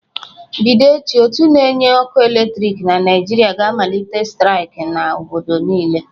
Bido echi, ótú na-enye ọkụ eletriki na Naịjirịa ga-amalite staịk n'obodo niile.